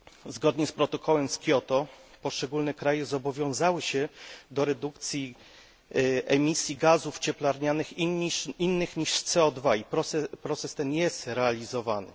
Zgodnie z Protokołem z Kioto poszczególne kraje zobowiązały się do redukcji emisji gazów cieplarnianych innych niż CO i proces ten jest realizowany.